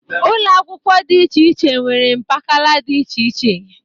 Ụlọakwụkwọ dị iche iche nwere mpakala dị iche iche.